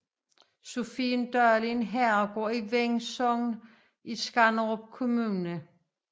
Sophiendal er en herregård i Veng Sogn i Skanderborg Kommune